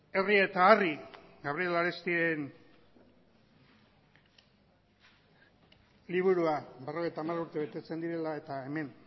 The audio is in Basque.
herri eta harri gabriel arestiren liburua berrogeita hamar urte betetzen direla eta hemen